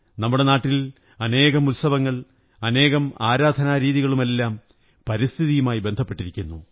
നമ്മുടെ നാട്ടിൽ അനേകം ഉത്സവങ്ങൾ അനേകം ആരാധനാരീതികളുമെല്ലാം പരിസ്ഥിതിയുമായി ബന്ധപ്പെട്ടിരിക്കുന്നു